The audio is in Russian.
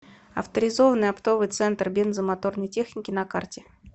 авторизованный оптовый центр бензо моторной техники на карте